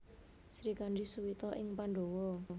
Srikandhi Suwita ing Pandhawa